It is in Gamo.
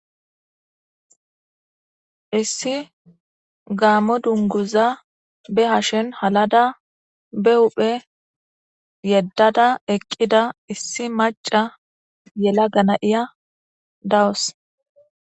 Issi gaammo dunguza be hashen halada be uphe yeddada eqqida issi maca yela gana7iya dawos.